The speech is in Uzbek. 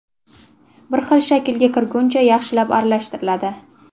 Bir xil shaklga kirguncha yaxshilab aralashtiriladi.